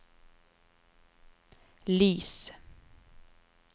lys